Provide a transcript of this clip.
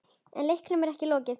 En leiknum er ekki lokið.